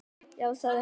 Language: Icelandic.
Já, sagði hann.